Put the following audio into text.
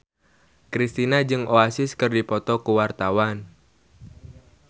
Kristina jeung Oasis keur dipoto ku wartawan